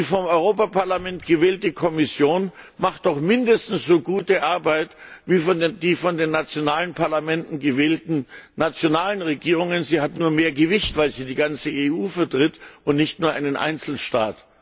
Die vom Europaparlament gewählte Kommission macht doch mindestens so gute Arbeit wie die von den nationalen Parlamenten gewählten nationalen Regierungen, sie hat nur mehr Gewicht, weil sie die ganze EU vertritt und nicht nur einen Einzelstaat.